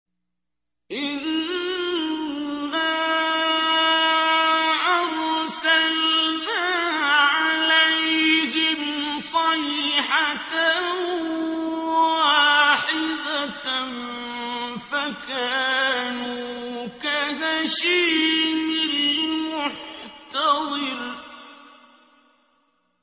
إِنَّا أَرْسَلْنَا عَلَيْهِمْ صَيْحَةً وَاحِدَةً فَكَانُوا كَهَشِيمِ الْمُحْتَظِرِ